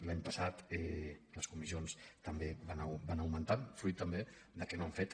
l’any passat les comissions també van augmentant fruit també que no han fet